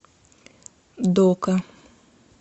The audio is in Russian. дока